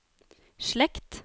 slekt